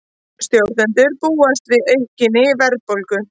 Stjórnendur búast við aukinni verðbólgu